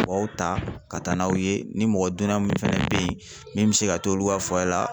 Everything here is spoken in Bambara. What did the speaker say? U b'aw ta ka taa n'aw ye ni mɔgɔ donna min fɛnɛ bɛ ye min bɛ se ka t'olu ka